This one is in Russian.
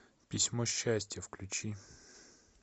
письмо счастья включи